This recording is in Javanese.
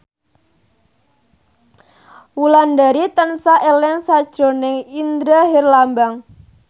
Wulandari tansah eling sakjroning Indra Herlambang